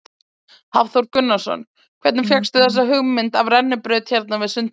Hafþór Gunnarsson: Hvernig fékkstu þessa hugmynd af rennibraut hérna við sundlaugina?